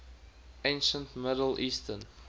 ancient middle eastern